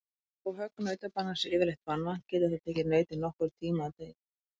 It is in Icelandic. Þó högg nautabanans sé yfirleitt banvænt getur það tekið nautið nokkurn tíma að deyja.